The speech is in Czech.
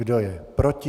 Kdo je proti?